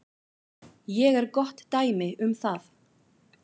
Ég er gott dæmi um það.